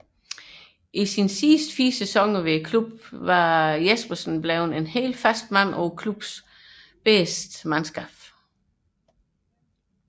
I sine sidste fire sæsoner ved klubben var Jespersen blevet fast mand på klubbens bedste mandskab